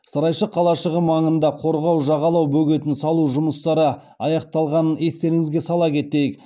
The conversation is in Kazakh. сарайшық қалашығы маңында қорғау жағалау бөгетін салу жұмыстары аяқталғанын естеріңізге сала кетейік